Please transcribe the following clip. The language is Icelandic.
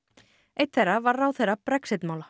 einn þeirra var ráðherra Brexit mála